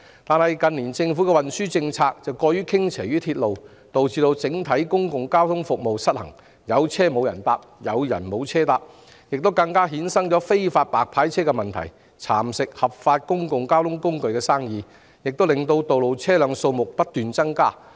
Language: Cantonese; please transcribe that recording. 然而，近年政府的運輸政策過於向鐵路運輸傾斜，導致整體公共交通服務失衡，出現"有車無人搭，有人無車搭"的情況，更衍生出"白牌車"問題，蠶食合法經營的公共交通工具的業務，亦導致道路上的車輛數目不斷增加。